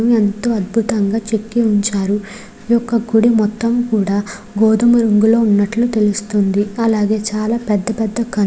ఎంతో అద్భుతంగా చెక్కి ఉంచారు. ఈ యొక్క గుడి మొత్తము కూడా గోధుమ రంగులో ఉన్నట్లు తెలుస్తుంది. అలాగే చాలా పెద్ధ పెద్ధ --